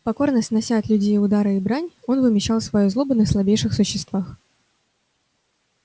покорно снося от людей удары и брань он вымещал свою злобу на слабейших существах